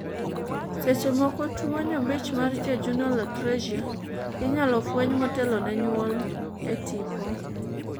seche moko, tuo nyombich mar jejunal atresia inyalo fweny motelo ne nyuol e tipo